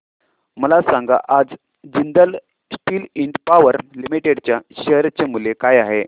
मला सांगा आज Jindal steel and power limited च्या शेअर चे मूल्य काय आहे